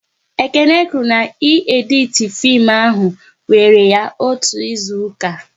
Ekene kwụrụ na ị editi fim ahụ wéré ya otú ịzụka